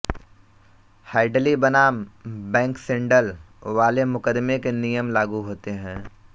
Hadley बनाम Baxendale वाले मुकदमे के नियम लागू होते है